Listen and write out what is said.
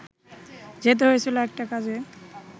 যেতে হয়েছিল একটা কাজে